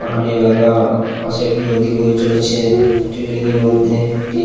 পাহাড়ি এলাকা পাশে একটি নদী বয়ে চলেছে একটি রেলিং -এর মধ্যে একটি--